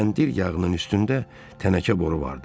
Kəndir yağının üstündə tənəkə boru vardı.